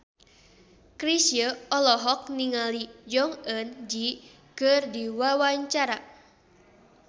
Chrisye olohok ningali Jong Eun Ji keur diwawancara